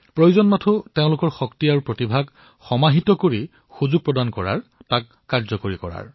প্ৰয়োজন আছে সেই শক্তি আৰু প্ৰতিভাক সমাহিত কৰাৰ অৱকাশ প্ৰদান কৰা তাক ক্ৰিয়ান্বিত কৰাৰ